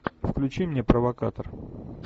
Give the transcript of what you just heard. включи мне провокатор